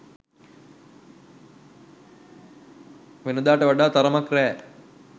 වෙනදාට වඩා තරමක් රෑ